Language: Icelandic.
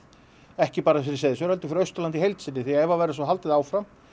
ekki bara fyrir Seyðisfjörð fyrir Austurlandi í heild sinni því að ef það verður haldið áfram